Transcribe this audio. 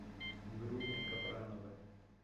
груня капранова